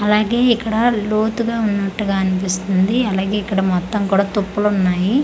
అలాగే ఇక్కడ లోతుగా ఉన్నట్టుగా అనిపిస్తుంది అలాగే ఇక్కడ మొత్తం కూడా తుప్పలు ఉన్నాయి.